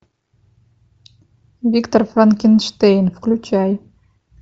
виктор франкенштейн включай